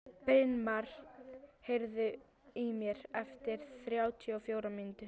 Brynmar, heyrðu í mér eftir þrjátíu og fjórar mínútur.